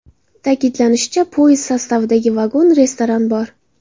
Ta’kidlanishicha, poyezd sostavida vagon-restoran bor.